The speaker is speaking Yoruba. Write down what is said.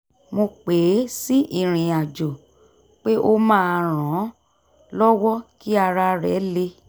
mo pè é sí ìrìnàjò pé ó máa ran an lọ́wọ́ kí ara rẹ̀ le